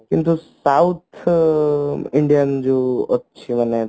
କିନ୍ତୁ south Indian ଯୋଉ ଅଛି ମାନେ